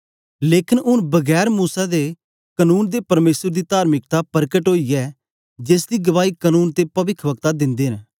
लेकन ऊन बगैर मूसा दे कनून दे परमेसर दी तार्मिकता परकट ओई ऐ जेसदी गवाही कनून ते पविखवक्ता दिन्दे न